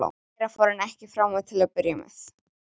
Meira fór hann ekki fram á til að byrja með.